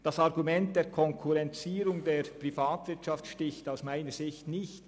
Das Argument der Konkurrenzierung der Privatwirtschaft sticht aus meiner Sicht nicht.